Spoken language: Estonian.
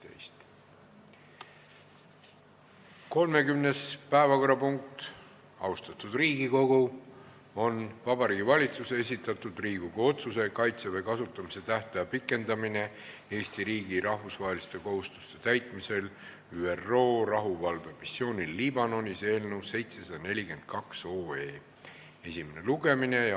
Austatud Riigikogu, 30. päevakorrapunkt on Vabariigi Valitsuse esitatud Riigikogu otsuse "Kaitseväe kasutamise tähtaja pikendamine Eesti riigi rahvusvaheliste kohustuste täitmisel ÜRO rahuvalvemissioonil Liibanonis" eelnõu 742 esimene lugemine.